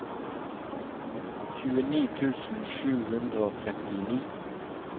tjueni tusen sju hundre og trettini